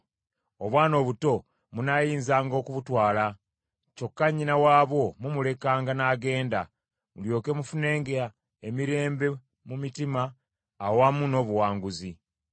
Obwana obuto munaayinzanga okubutwala, kyokka nnyina waabwo mumulekanga n’agenda, mulyoke mufunenga emirembe mu mutima awamu n’obuwangaazi.